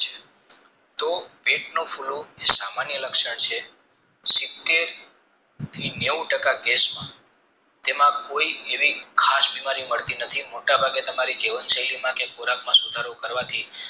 તો પેટનું ફૂલવું એ સામાન્ય લક્ષણ છે સીતેર થી નેવું ટાકા કેશમાં તેમાંકોઈ એવી ખાસ બીમારી મળતી નથી મોટા ભાગે તમારે જીવન શૈલી માંથી ખોરાકમાં સુધારો કરવાથી